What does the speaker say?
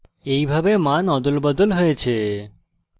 এইভাবে মান অদলবদল হয়েছে